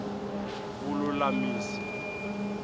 vululamisi